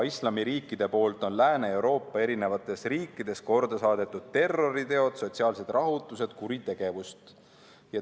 Islamiriikidest pärit olevad inimesed on Lääne-Euroopa riikides korda saatnud terroritegusid, on tekitanud sotsiaalseid rahutusi, kuritegevust.